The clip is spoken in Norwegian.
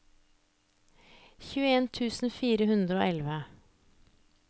tjueen tusen fire hundre og elleve